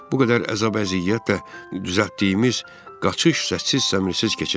Bu qədər əzab-əziyyət və düzəltdiyimiz qaçış səssiz-səmirsiz keçəcək.